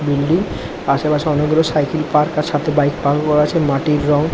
Building আশেপাশে অনেক গুলো সাইকেল পার্ক আর সাথে বাইক পার্ক ও করা আছে। মাটির রং--